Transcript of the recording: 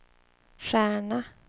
stjärna